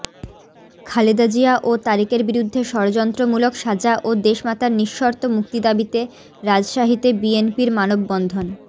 খালেদা জিয়া ও তারেকের বিরুদ্ধে ষড়যন্ত্রমূলক সাজা ও দেশমাতার নিঃশর্ত মুক্তি দাবীতে রাজশাহীতে বিএনপির মানববন্ধন